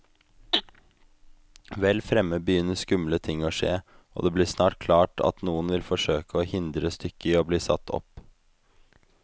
Vel fremme begynner skumle ting å skje, og det blir snart klart at noen vil forsøke å hindre stykket i bli satt opp.